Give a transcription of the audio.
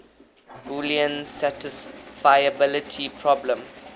boolean satisfiability problem